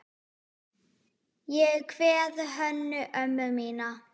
Ég kveð Hönnu ömmu mína.